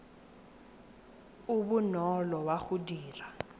o bonolo wa go dira